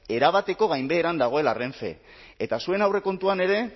erabateko gainbeheran dagoela renfe eta zuen aurrekontuan ere